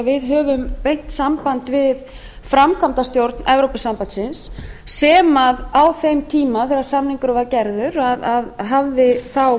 við höfum beint samband við framkvæmdastjórn evrópusambandsins sem á þeim tíma þegar samningurinn var gerður hafði